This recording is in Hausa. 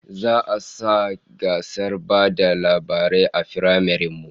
Za'a sa gasar ba da labarai a firamaren mu